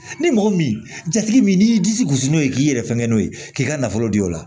Ni mɔgɔ min jatigi ni y'i disi gosi n'o ye k'i yɛrɛ fɛn kɛ n'o ye k'i ka nafolo di o la